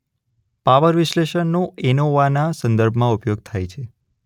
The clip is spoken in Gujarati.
પાવર વિશ્લેષણનો એનોવાના સંદર્ભમાં ઉપયોગ થાય છે.